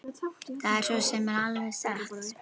Það er svo sem alveg satt